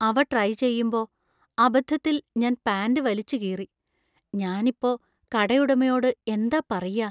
അവ ട്രൈ ചെയ്യുമ്പോ അബദ്ധത്തിൽ ഞാൻ പാന്‍റ് വലിച്ചുകീറി. ഞാൻ ഇപ്പൊ കടയുടമയോട് എന്താ പറയാ ?